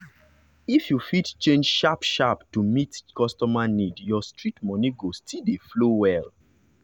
if you fit change sharp-sharp to meet customer need your street money go still dey flow well.